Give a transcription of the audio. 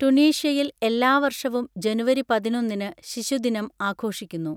ടുണീഷ്യയിൽ എല്ലാ വർഷവും ജനുവരി പതിനൊന്നിന് ശിശുദിനം ആഘോഷിക്കുന്നു.